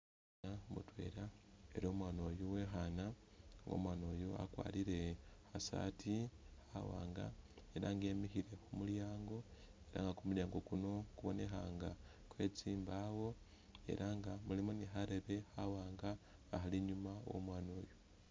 U'mwaana mutwela ela nga U'mwaana uyu uwe'khaana nga u'mwaana uyu wakwarire kha saati khawaanga ela nga emile khu mulyango nenga kumulyango kuno kubonekha nga kwe tsimbaawo ela nga mulimo ni kharebe khawaanga khali inyuma wo'omwaana oyu.